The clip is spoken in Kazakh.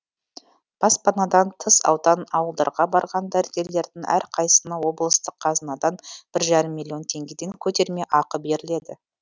баспанадан тыс аудан ауылдарға барған дәрігерлердің әрқайсысына облыстық қазынадан бір жарым миллион тенгеден көтерме ақы беріледі